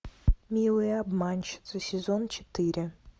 милые обманщицы сезон четыре